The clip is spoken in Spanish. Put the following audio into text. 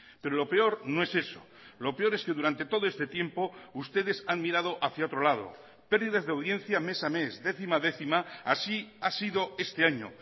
pero lo peor no es eso lo peor es que durante todo este tiempo ustedes han mirado hacia otro lado pérdidas de audiencia mes a mes décima a décima así ha sido este año